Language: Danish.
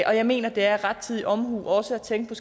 og jeg mener det er rettidig omhu også at tænke på